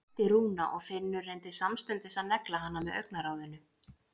æpti Rúna og Finnur reyndi samstundis að negla hana með augnaráðinu.